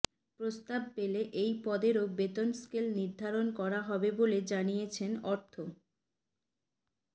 প্রস্তাব পেলে এই পদেরও বেতন স্কেল নির্ধারণ করা হবে বলে জানিয়েছে অর্থ